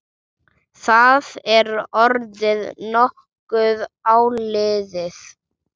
Það er orðið nokkuð áliðið.